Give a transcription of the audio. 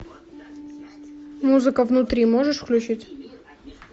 музыка внутри можешь включить